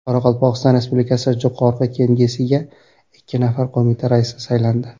Qoraqalpog‘iston Respublikasi Jo‘qorg‘i Kengesiga ikki nafar qo‘mita raisi saylandi.